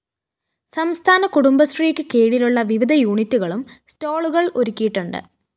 സംസ്ഥാന കുടുംബശ്രീക്ക് കീഴിലുള്ള വിവിധ യൂണിറ്റുകളും സ്റ്റാളുകള്‍ ഒരുക്കിയിട്ടുണ്ട്